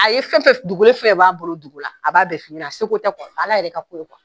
A ye fɛn fɛn dogolen fɛn fɛn b'a bolo dogo la, a b'a bɛɛ f'i ɲɛna, seko tɛ Ala yɛrɛ ka ko don